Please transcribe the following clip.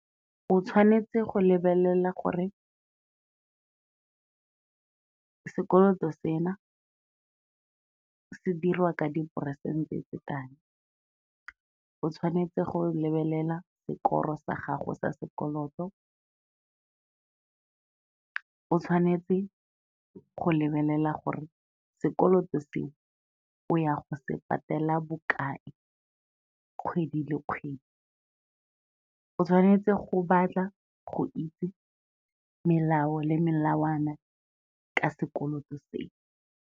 O tshwanetse go lebelela gore sekoloto sena, se diriwa ka diperesente tse kae, o tshwanetse go lebelela sekoro sa gago sa sekoloto, o tshwanetse go lebelela gore sekoloto seo o ya go se patela bokae kgwedi le kgwedi, o tshwanetse go batla go itse melao le melawana ka sekoloto seo.